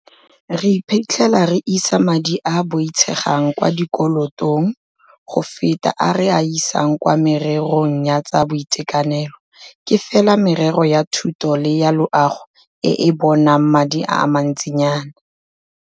Re iphitlhela re isa madi a a boitshegang kwa dikolotong go feta a re a isang kwa mererong ya tsa boitekanelo, ke fela merero ya thuto le ya loago e e bonang madi a mantsinyana.